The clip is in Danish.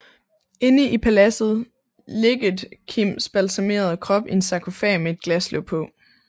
Inde i paladset ligget Kims balsamerede krop i en sarkofag med et glaslåg på